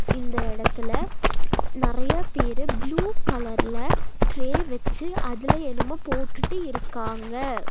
இந்த எடத்துல நறையா பேரு ப்ளூ கலர்ல ட்ரே வெச்சு அதுல என்னமோ போட்டுட்டு இருக்காங்க.